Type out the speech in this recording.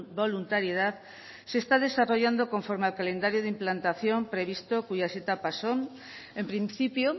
voluntariedad se está desarrollando conforme al calendario de implantación previsto cuyas etapas son en principio